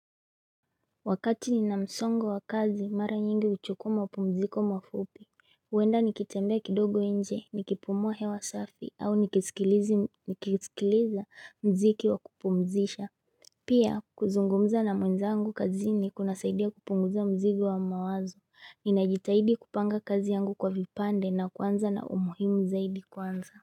Wakati nina msongo wa kazi mara nyingi uchukua mapumziko mafupi huenda nikitembea kidogo inje Nikipumua hewa safi au nikisikiliza mziki wa kupumzisha Pia kuzungumza na mwenzangu kazini kunasaidia kupunguza mzigi wa mawazo Ninajitahidi kupanga kazi yangu kwa vipande na kuanza na umuhimu zaidi kwanza.